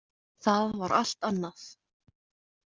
Það var allt annað.